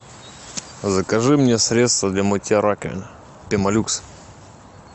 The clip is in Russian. закажи мне средство для мытья раковин пемолюкс